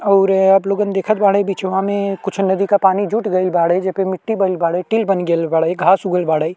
और आप लोगन देखत बाड़े बीचवा में कुछ नदी का पानी जुट गइल बाड़े जे पे मिटटी बाड़े टिल बन गइल बाड़े घास उगल बाड़े।